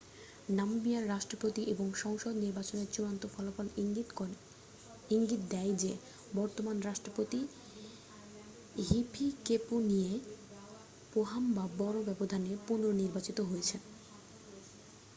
নামিবিয়ার রাষ্ট্রপতি ও সংসদ নির্বাচনের চূড়ান্ত ফলাফল ইঙ্গিত দেয় যে বর্তমান রাষ্ট্রপতি হিফিকেপুনিয়ে পোহাম্বা বড় ব্যবধানে পুনঃনির্বাচিত হয়েছেন